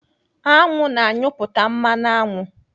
Aṅụ na-anyụpụta mmanụ aṅụ.